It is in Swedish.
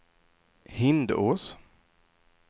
Hindås